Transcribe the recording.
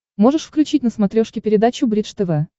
можешь включить на смотрешке передачу бридж тв